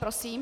Prosím.